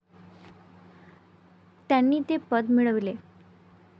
त्यांनी ते पद मिळवले.